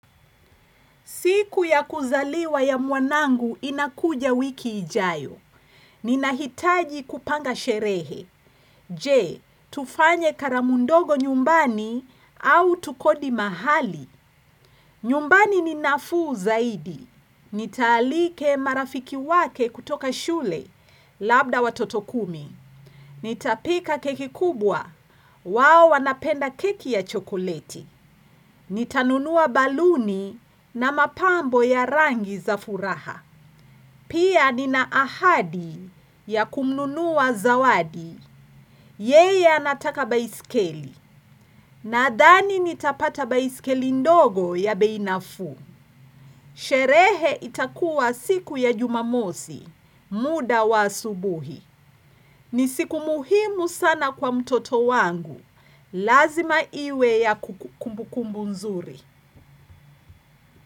Siku ya kuzaliwa ya mwanangu inakuja wiki ijayo. Ninahitaji kupanga sherehe. Je, tufanye karamu ndogo nyumbani au tukodi mahali. Nyumbani ni nafuu zaidi. Nitaalika marafiki wake kutoka shule labda watoto kumi. Nitapika keki kubwa. Wao wanapenda keki ya chokoleti. Nitanunua baluni na mapambo ya rangi za furaha. Pia nina ahadi ya kumnunua zawadi. Yeye anataka baiskeli. Nadhani nitapata baiskeli ndogo ya bei nafuu. Sherehe itakuwa siku ya jumamosi. Muda wa asubuhi. Ni siku muhimu sana kwa mtoto wangu. Lazima iwe ya kumbukumbu nzuri.